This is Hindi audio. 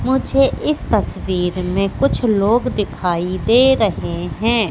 मुझे इस तस्वीर में कुछ लोग दिखाई दे रहे हैं।